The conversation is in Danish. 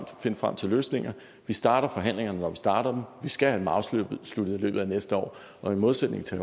finde frem til løsninger vi starter forhandlingerne når vi starter vi skal have dem afsluttet i løbet af næste år og i modsætning til